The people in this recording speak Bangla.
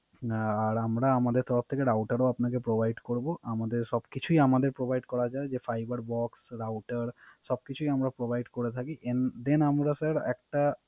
আর আমরা আমাদের তরফ থেকে Router ও আপনাকে Provide করবো। আমাদের সবকিছুই আমাদের Provide করা যায় Fiber box, Router সবকিছুই আমরা Provide করে থাকি। Then আমরা স্যার একটা